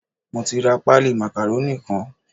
Mo ti ra páálí màkàrónì kan.